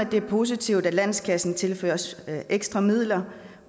det er positivt at landskassen tilføres ekstra midler